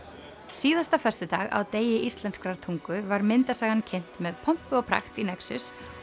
síðasta föstudag á degi íslenskrar tungu var myndasagan kynnt með pompi og prakt í nexus